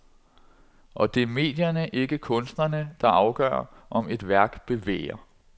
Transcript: Og det er medierne, ikke kunstnerne, der afgør, om et værk bevæger.